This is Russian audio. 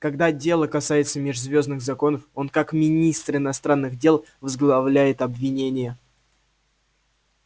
когда дело касается межзвёздных законов он как министр иностранных дел возглавляет обвинение